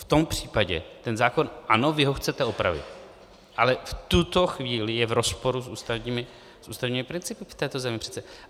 V tom případě ten zákon - ano, vy ho chcete opravit - ale v tuto chvíli je v rozporu s ústavními principy v této zemi přece.